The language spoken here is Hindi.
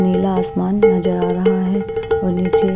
नीला आसमान नजर आ रहा है और नीचे --